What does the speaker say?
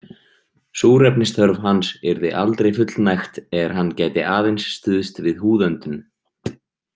Súrefnisþörf hans yrði aldrei fullnægt er hann gæti aðeins stuðst við húðöndun.